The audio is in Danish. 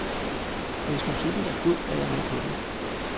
Hvis musikken er god, er jeg med på den.